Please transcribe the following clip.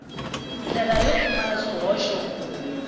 ndlela yo pfumala swihoxo ku